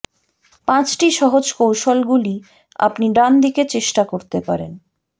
পাঁচটি সহজ কৌশলগুলি আপনি ডান দিকে চেষ্টা করতে পারেন